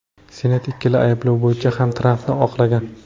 Senat ikkala ayblov bo‘yicha ham Trampni oqlagan .